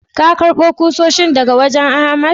Ka karba kusoshin daga wajen Ahmad?